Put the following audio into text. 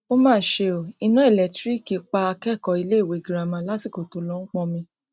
ó mà ṣe o iná ẹlẹńtíríìkì pa akẹkọọ iléèwé girama lásìkò tó ń lọọ pọnmi